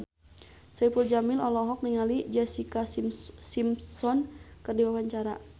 Saipul Jamil olohok ningali Jessica Simpson keur diwawancara